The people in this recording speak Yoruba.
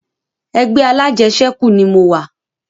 Ẹgbẹ́ alajẹsẹ́kù ni mo wà